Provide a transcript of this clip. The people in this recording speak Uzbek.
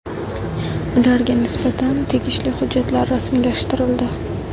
Ularga nisbatan tegishli hujjatlar rasmiylashtirildi.